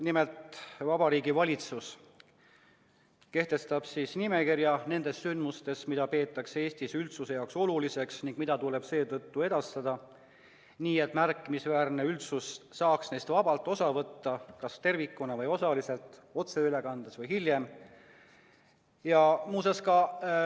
Nimelt, Vabariigi Valitsus kehtestab nimekirja nendest sündmustest, mida peetakse Eesti üldsuse jaoks oluliseks ning mida tuleks seetõttu edastada nii, et märkimisväärne osa üldsusest saaks neist vabalt osa võtta kas tervikuna või osaliselt, otseülekandes või hiljem.